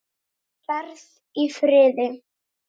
Þú ferð í friði.